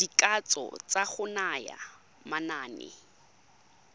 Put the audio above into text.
dikatso tsa go naya manane